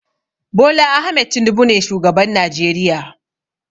Bola Ahmed Tinubu ne shugaban Najeriya.